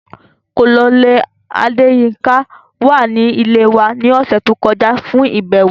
Colonel Adeyinka wa ni ile wa ni ọsẹ to kọja fun ibẹwo.